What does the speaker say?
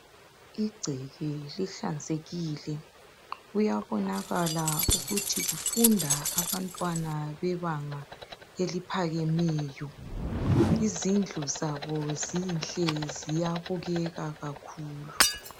Igceke lihlanzekile kuyabonakala ukuthi kufunda abantwana bebanga eliphakemeyo, izindlu zabo zinhle ziyabukeka kakhulu.